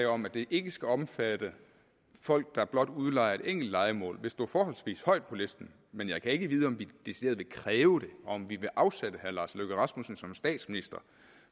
om at det ikke skal omfatte folk der blot udlejer et enkelt lejemål vil stå forholdsvis højt på listen men jeg kan ikke vide om vi decideret vil kræve det og om vi vil afsætte herre lars løkke rasmussen som statsminister